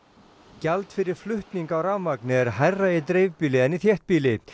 gjald fyrir flutning á rafmagni er hærra í dreifbýli en í þéttbýli